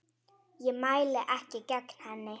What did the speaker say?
Ég mæli ekki gegn henni.